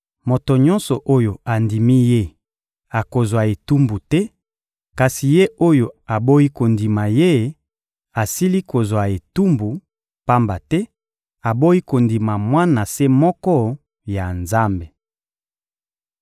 Moto nyonso oyo andimi Ye akozwa etumbu te; kasi ye oyo aboyi kondima Ye asili kozwa etumbu, pamba te aboyi kondima Mwana se moko ya Nzambe.